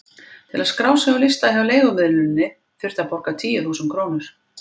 Til að skrá sig á lista hjá leigumiðluninni þurfti að borga tíu þúsund krónur.